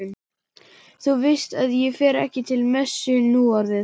Þú veist að ég fer ekki til messu núorðið.